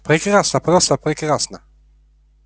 прекрасно просто прекрасно